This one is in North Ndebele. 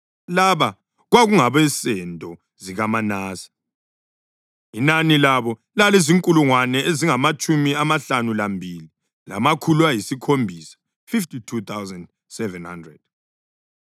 Laba kwakungabensendo zikaManase; inani labo lalizinkulungwane ezingamatshumi amahlanu lambili, lamakhulu ayisikhombisa (52,700).